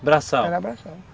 Era braçal.